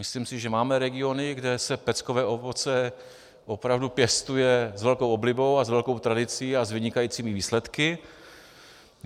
Myslím si, že máme regiony, kde se peckové ovoce opravdu pěstuje s velkou oblibou a s velkou tradicí a s vynikajícími výsledky.